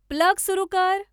plug सुरु कर